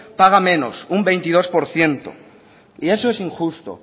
paga menos un veintidós por ciento y eso es injusto